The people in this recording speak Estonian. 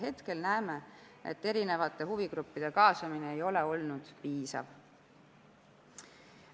Hetkel näeme, et erinevate huvigruppide kaasamine ei ole olnud piisav.